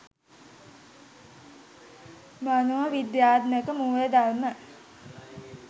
මනෝ විද්‍යාත්මක මූලධර්ම,